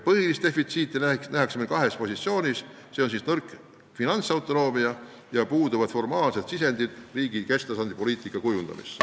Põhilist puudujääki nähakse meil kahes positsioonis: nõrk finantsautonoomia ja puuduvad formaalsed sisendid riigi kesktasandi poliitika kujundamisse.